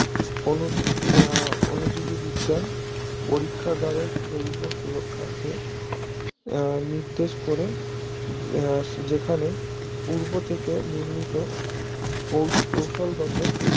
অনুবিক অনুজীবী বিজ্ঞান পরীক্ষা গাড়ের জৈব সুরক্ষাকে এর নির্দেশ করে যেখানে পূর্ণ থেকে নির্মিত কৌশল গত